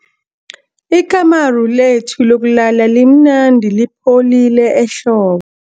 Ikamuru lethu lokulala limnandi lipholile ehlo